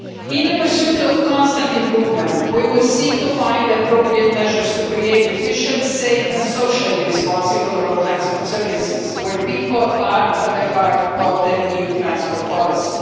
In the pursuit of constant improvement, we will seek to find appropriate measures to create efficient, safe and socially responsible road transport services where people are at the heart of EU transport policy.